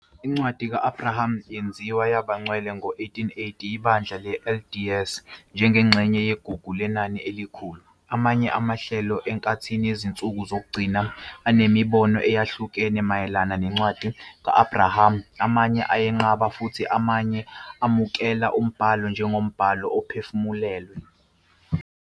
Incwadi ka-Abrahama yenziwa yaba ngcwele ngo-1880 yiBandla le-LDS njengengxenye yeGugu Lenani Elikhulu. Amanye amahlelo eNkathini Yezinsuku Zokugcina anemibono eyahlukene mayelana neNcwadi ka-Abrahama, amanye ayenqaba futhi amanye amukela umbhalo njengombhalo ophefumlelwe.